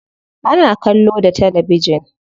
Ana kallo da talabijin.